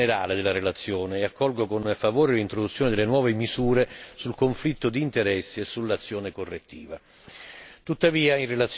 Sono d'accordo con l'impianto generale della relazione e accolgo con favore l'introduzione delle nuove misure sul conflitto di interessi e sull'azione correttiva.